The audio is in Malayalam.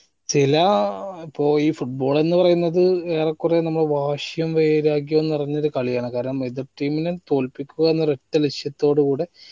ചില ആ പോയി football എന്ന് പറയുന്നത് ഏറെ കുറെ വാശിയും വൈരാഗ്യഓം നിറഞ്ഞൊരു കളിയാണ് കാര്യം എതിർ team നെ തോൽപ്പിക്കുക എന്നൊരു ഒറ്റ ലക്ഷ്യത്തോടു കൂടെ